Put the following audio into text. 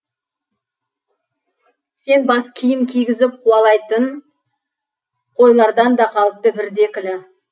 сен бас киім кигізіп қуалайтын қойлардан да қалыпты бірді екілі